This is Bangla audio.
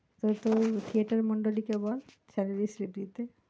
তাহলে তোর থিয়েটার মন্ডলী কে বল salary slip দিতে,